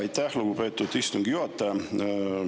Aitäh, lugupeetud istungi juhataja!